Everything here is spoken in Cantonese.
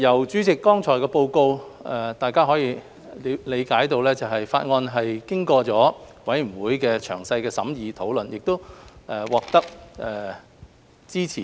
主席，由剛才的報告，大家可以理解《條例草案》經過了委員會詳細的審議和討論，並獲得支持。